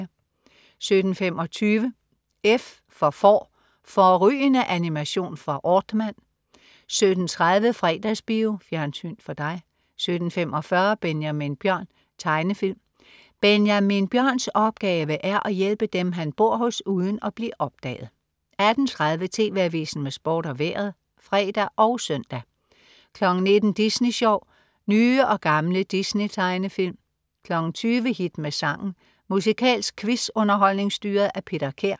17.25 F for Får. Fårrygende animation fra Aardman 17.30 Fredagsbio. Fjernsyn for dig 17.45 Benjamin Bjørn. Tegnefilm. Benjamin Bjørns opgave er at hjælpe dem, han bor hos, uden at blive opdaget 18.30 TV Avisen med Sport og Vejret (fre og søn) 19.00 Disney Sjov. Nye og gamle Disney-tegnefilm 20.00 Hit med sangen. Musikalsk quiz-underholdning styret af Peter Kær